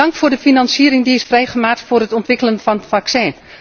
Dank voor de financiering die is vrijgemaakt voor het ontwikkelen van het vaccin.